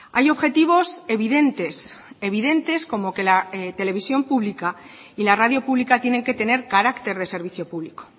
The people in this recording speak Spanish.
hay objetivos evidentes evidentes como que la televisión pública y la radio pública tienen que tener carácter de servicio público